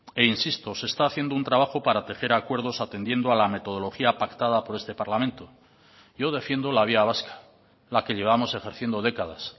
e insisto se está haciendo un trabajo para tejer acuerdos atendiendo a la metodología pactada por este parlamento yo defiendo la vía vasca la que llevamos ejerciendo décadas